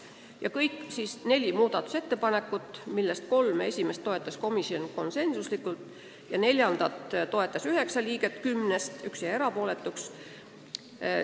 Seega kolme esimest muudatusettepanekut toetas komisjon konsensusega, neljandat toetas üheksa liiget kümnest, üks jäi erapooletuks.